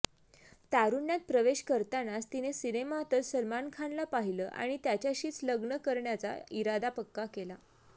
तारुण्यात प्रवेश करतानाच तिने सिनेमातच सलमान खानला पाहिलं आणि त्याच्याशीच लग्न करण्याचा इरादा पक्का केला